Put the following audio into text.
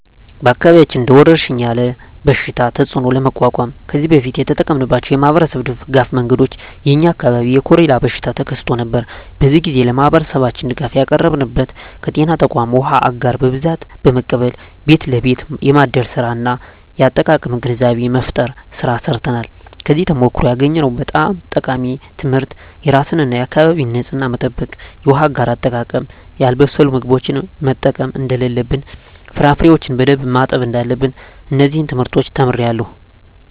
በአካባቢያችን እንደ ወረርሽኝ ያለ የበሽታ ተፅእኖ ለመቋቋም ከዚህ በፊት የተጠቀምንባቸው የማኅበረሰብ ድጋፍ መንገዶች የ የኛ አካባቢ የኮሬላ በሽታ ተከስቶ ነበር። በዚያ ግዜ ለማህበረሠባችን ድጋፍ ያቀረብንበት ከጤና ተቋማት ዉሃ አጋር በብዛት በመቀበል ቤት ለቤት የማደል ስራ እና የአጠቃቀም ግንዛቤ መፍጠር ስራ ሰርተናል። ከዚያ ተሞክሮ ያገኘሁት በጣም ጠቃሚ ትምህርት የራስን እና የአካቢን ንፅህና መጠበቅ፣ የውሃ አጋር አጠቃቀም፣ ያልበሰሉ ምግቦችን መጠቀም እደለለብን፣ ፍራፍሬዎችን በደንብ ማጠብ እዳለብን። እነዚን ትምህርቶች ተምሬአለሁ።